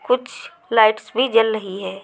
कुछ लाइट्स भी जल रही है।